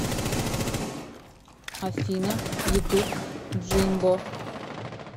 афина ютуб джимбо